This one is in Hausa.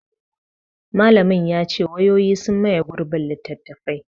Malamin ya ce; wayoyi sun maye gurbin littattafai.